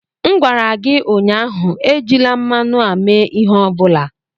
M gwara gị ụnyaahụ, ejila mmanụ a mee ihe ọ bụla!